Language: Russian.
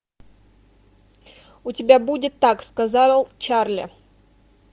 у тебя будет так сказал чарли